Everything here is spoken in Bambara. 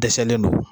Dɛsɛlen don